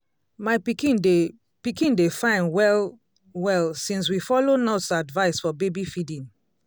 my pikin dey pikin dey fine well-well since we follow nurse advice for baby feeding